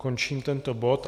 Končím tento bod.